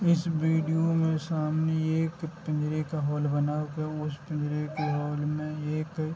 इस वीडियो में सामने एक पिंजरे का हॉल बना हुआ है उस पिंजरे के हॉल में एक --